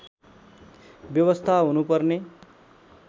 व्यवस्था हुनुपर्ने